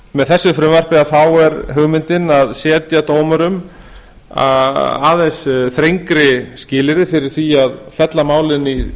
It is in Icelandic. með þessu frumvarpi er hugmyndin að setja dómurum aðeins þrengri skilyrði fyrir því að fella mál í